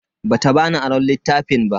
Bata bani aron littafin ba.